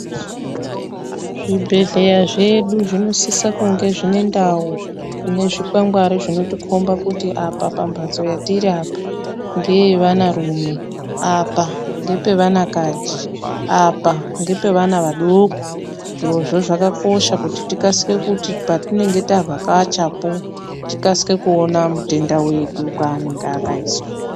Zvibhedhleya zvedu zvinosisa kunge zvine ndau ine zvikwangwari zvinotikhomba kuti. apa pamphatso yatiri apa ngeyeanarume ,apa ngepevanakaji, apa ngepevana vadoko. Zvirozvo zvakakosha kuti tikasike kuti patinenge tavhakachapo tikasike kuona mutenda wedu paakaiswa.